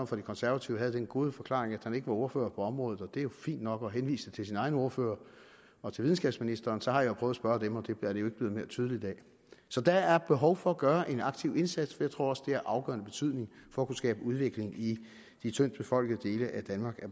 fra de konservative havde den gode forklaring at han ikke var ordfører på området og det er jo fint nok og henviste til sin egen ordfører og til videnskabsministeren så har jeg prøvet at spørge dem og det er det jo ikke blevet mere tydeligt af så der er behov for at gøre en aktiv indsats for jeg tror også det er af afgørende betydning for at kunne skabe udvikling i de tyndtbefolkede dele af danmark at